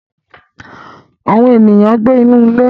Awọn eniyan n gbe ni ile